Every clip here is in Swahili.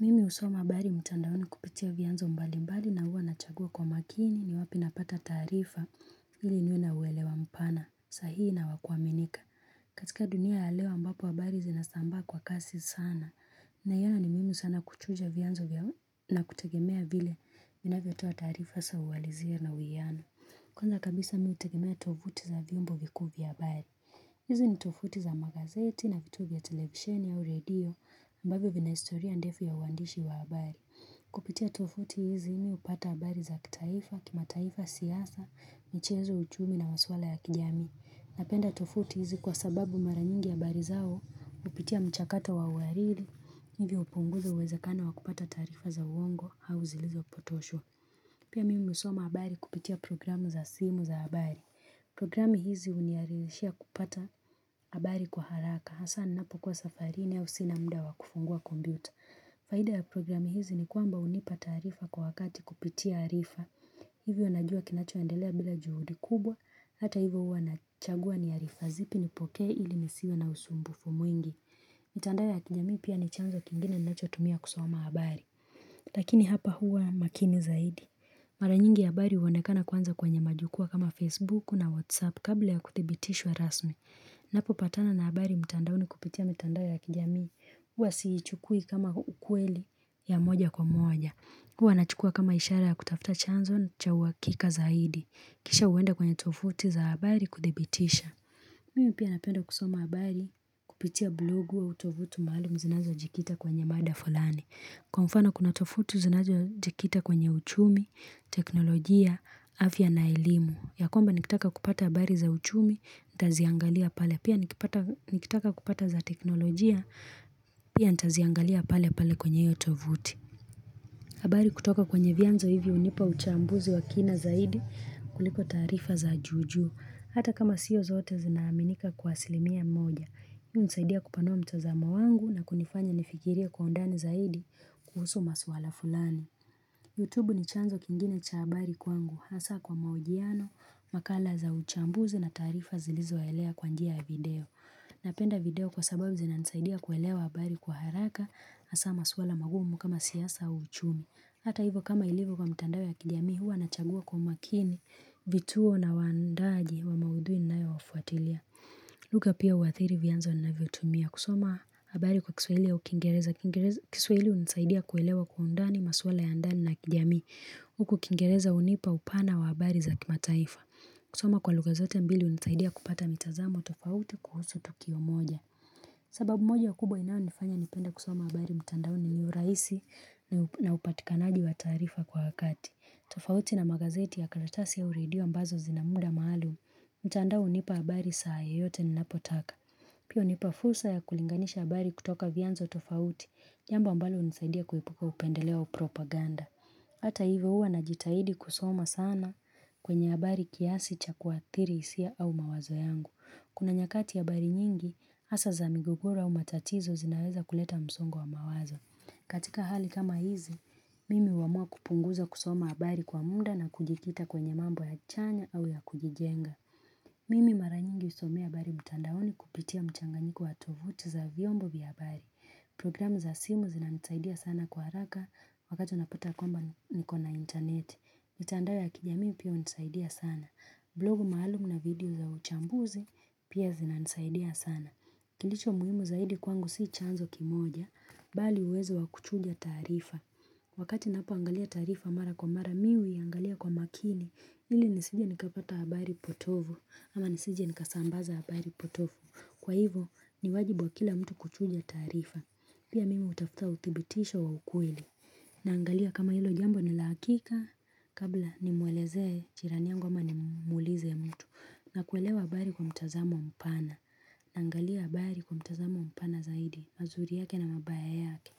Mimi husoma habari mtandaoni kupitia vianzo mbali mbali na huwa nachagua kwa makini ni wapi napata taarifa ili niwa na uelewa mpana sahihi na wakuwaminika. Katika dunia ya leo ambapo habari zinasambaa kwa kasi sana naiyona ni muhimu sana kuchuja vianzo na kutegemea vile vinavyo toa taarifa sa uwalizia na uwiano. Kwanza kabisa mi utegimea tovuti za viombo vikuu vya habari. Hizi ni tofuti za magazeti na vitu vya television au redio ambavyo vina historia ndefu ya uwandishi wa habari. Kupitia tofuti hizi mi upata habari za kitaifa, kimataifa siyasa, michezo uchumi na maswala ya kijamii. Napenda tofuti hizi kwa sababu maranyingi habari zao, hupitia mchakato wa uhariri, ili upunguze uwezakano wa kupata taarifa za uongo au zilizo potoshwa. Pia mimi husoma habari kupitia programu za simu za habari. Programu hizi huniaririshia kupata habari kwa haraka. Hasa ninapo kuwa safarini au sina muda kufungua kompiuta. Faida ya programu hizi ni kwamba hunipa taarifa kwa wakati kupitia arifa. Hivyo najua kinacho endelea bila juhudi kubwa. Hata hivyo huwa nachagua ni arifa zipi nipokee ili nisiwe na usumbufu mwingi. Mitandao ya kijamii pia ni chanzo kingine nachotumia kusoma habari Lakini hapa huwa makini zaidi Maranyingi habari uwonekana kwanza kwenye majukuwa kama Facebook na WhatsApp kabla ya kuthibitishwa rasmi Napo patana na habari mitandaoni kupitia mitandao ya kijamii Huwa si ichukui kama ukweli ya moja kwa moja Huwa nachukua kama ishara ya kutafuta chanzo na cha uhakika zaidi Kisha huenda kwenye tofuti za habari kudhibitisha Mimi pia napenda kusoma habari kupitia blogu au tovuti maalum zinazo jikita kwenye mada fulani. Kwa mfano kuna tofauti zinazo jikita kwenye uchumi, teknolojia, afya na elimu. Yakwamba nikitaka kupata habari za uchumi, ntaziangalia pale. Pia nikitaka kupata za teknolojia, pia ntaziangalia pale pale kwenye hio tovuti. Habari kutoka kwenye vianzo hivi hunipa uchambuzi wa kina zaidi kuliko taarifa za juju. Hata kama siyo zote zinaaminika kwa asilimia mmoja. Hii unisaidia kupanua mtazamo wangu na kunifanya nifikirie kwa undani zaidi kuhusu maswala fulani. Youtube ni chanzo kingine cha habari kwangu. Hasa kwa mahojiano, makala za uchambuzi na taarifa zilizo elea kwa njia video. Napenda video kwa sababu zina nisaidia kuelewa habari kwa haraka hasa maswala magumu kama siyasa au uchumi. Hata hivyo kama ilivyo kwa mtandao ya kijamii huwa nachagua kwa makini vituo na waandaji wa maudhui ninae wafuatilia lugha pia uathiri vianzo navyotumia kusoma habari kwa kiswahili au kingereza kiswahili unisaidia kuelewa kwa undani maswala ya ndani na kijamii Huku kingereza hunipa upana wa habari za kimataifa kusoma kwa lugha zote mbili unisaidia kupata mitazamo tofauti kuhusu Tukio moja sababu moja kubwa inayo nifanya nipenda kusoma habari mtandao ni urahisi na upatikanaji wa taarifa kwa wakati. Tofauti na magazeti ya karatasi au redio ambazo zina muda maalum, mtandao unipa habari saa yoyote ninapotaka. Pia unipa fursa ya kulinganisha habari kutoka vianzo tofauti, jambo ambalo unisaidia kuepuka upendeleo au propaganda. Hata hivyo huwa najitahidi kusoma sana kwenye habari kiasi cha kuathiri hisia au mawazo yangu. Kuna nyakati habari nyingi, hasa za migogoro au matatizo zinaweza kuleta msongo wa mawazo. Katika hali kama hizi, mimi huamua kupunguza kusoma habari kwa muda na kujikita kwenye mambo ya chanya au ya kujijenga. Mimi mara nyingi husomea habari mtandaoni kupitia mchanganyiko wa tovuti za viombo vya habari. Program za simu zinanisaidia sana kwa haraka wakati unapata kwamba niko na internet. Mitandao ya kijamii pia unisaidia sana. Blogu maalumu na video za uchambuzi pia zinanisaidia sana. Kilicho muhimu zaidi kwangu si chanzo kimoja, bali uwezo wa kuchuja taarifa. Wakati napo angalia taarifa mara kwa mara mi, huiangalia kwa makini, ili nisije nikapata habari potovu, ama nisije nikasambaza habari potovu. Kwa hivo, niwajibu wa kila mtu kuchuja taarifa, pia mimi utafuta uthibitisho wa ukweli. Na angalia kama hilo jambo ni la hakika kabla nimuelezee jirani yangu ama nimulize mtu na kuelewa habari kwa mtazamo mpana naangalia habari kwa mtazamo mpana zaidi mazuri yake na mabaya yake.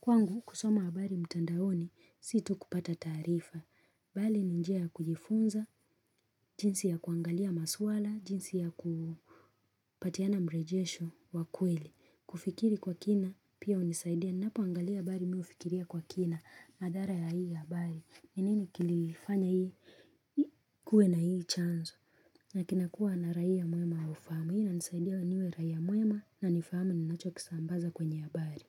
Kwangu, kusoma habari mtandaoni, si tu kupata taarifa. Bali, ni njia kujifunza, jinsi ya kuangalia maswala, jinsi ya kupatiana mrejesho wa kweli. Kufikiri kwa kina, pia unisaidia. Napo angalia habari, mi ufikiria kwa kina, madhara ya hii habari. Ni nini kilifanya hii, kuwe na hii chanzo. Na kina kuwa na raia muema ufahamu. Hii inanisaidia niwe raia muema na nifahamu ninacho kisambaza kwenye habari.